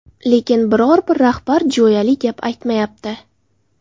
Lekin, biror-bir rahbar jo‘yali gap aytmayapti”.